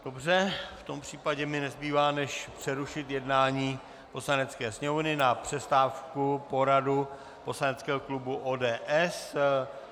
Dobře, v tom případě mi nezbývá než přerušit jednání Poslanecké sněmovny na přestávku, poradu poslaneckého klubu ODS.